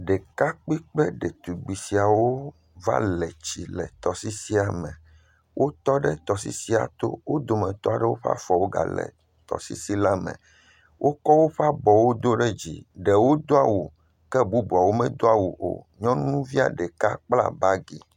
Ɖekakpui kple ɖetugbui siawo va le tsi le tɔsisia me, wotɔ ɖe tɔsisia to, wo dometɔ aɖewo ƒe afɔwo gale tɔsisi la me, wokɔ woƒe abɔwo do ɖe dzi, ɖewo do awu ke ɖewo medo awo o, nyɔnuvia ɖeka kpla bagi.